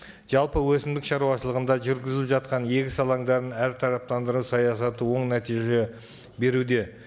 жалпы өсімдік шаруашылығында жүргізіліп жатқан егіс алаңдарын әртараптандыру саясаты оң нәтиже беруде